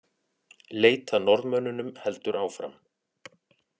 Leit að Norðmönnunum heldur áfram